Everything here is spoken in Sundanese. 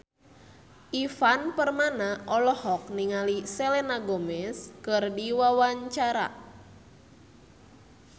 Ivan Permana olohok ningali Selena Gomez keur diwawancara